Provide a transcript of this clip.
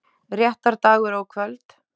Réttardagur og kvöld